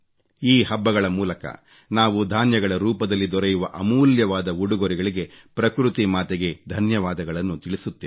ಈ ಹಬ್ಬಗಳ ಮೂಲಕ ನಾವು ಧಾನ್ಯಗಳ ರೂಪದಲ್ಲಿ ದೊರೆಯುವ ಅಮೂಲ್ಯವಾದ ಉಡುಗೊರೆಗಳಿಗೆ ಪ್ರಕೃತಿ ಮಾತೆಗೆ ಧನ್ಯವಾದಗಳನ್ನು ತಿಳಿಸುತ್ತೇವೆ